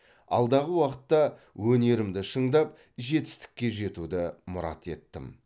алдағы уақытта өнерімді шыңдап жетістікке жетуді мұрат еттім